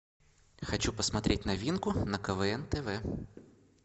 хочу посмотреть новинку на квн тв